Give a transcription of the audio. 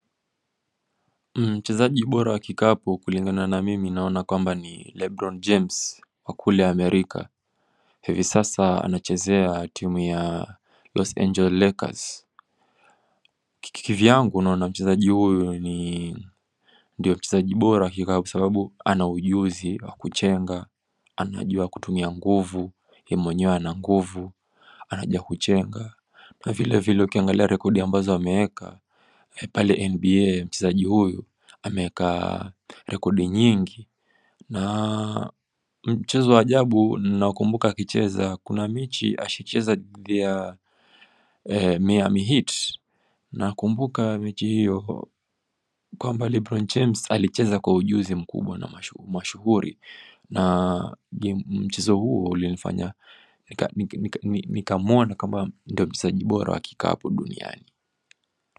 Mchezaji bora kikapu kulingana na mimi naona kwamba ni Lebron James wa kule Amerika. Hivi sasa anachezea timu ya Los Angeles Lakers kivyangu naona mchezaji huyo ni Ndio mchezaji bora kikapu kwa sababu ana ujuzi wa kuchenga anajua kutumia nguvu ye mwenyewe ana nguvu, anajua kuchenga, na vilevile ukiangalia rekodi ambazo ameeka pale NBA mchezaji huyo ameeka rekodi nyingi na mchezo wa ajabu ninaokumbuka akicheza Kuna mechi ashahicheza dhidi ya Miami Heat Nakumbuka mechi hiyo Kwa Lebron James alicheza kwa ujuzi mkubwa na mashuhuri na mchezo huo ulinifanya Nikawona kama ndiye mchezaji bora wa kikapu duniani.